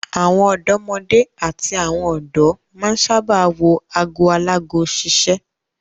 Àwọn ọ̀dọ́mọdé àti àwọn ọ̀dọ́ máa ń sábà wo ago alago ṣiṣẹ́.